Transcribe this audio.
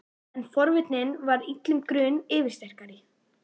En forvitnin varð illum grun yfirsterkari.